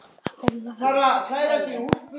Anna Pálma.